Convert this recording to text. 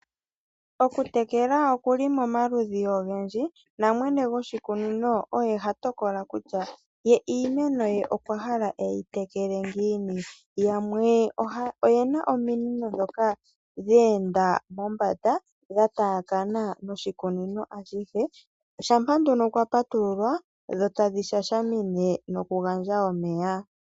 Okutekela oku li momaludhi ogendji namwene goshikunino oye ha tokola kutya ye iimeno ye okwa hala eyi tekele ngiini. Yamwe oye na ominino ndhoka dha enda mombanda dha taakana noshikunino ashihe. Shampa nduno kwa patululwa dho tadhi shashamine nokugandja omeya.